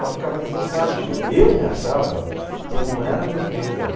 Só ficava deslocado, que eu eu me achava que eu não era o meu lugar.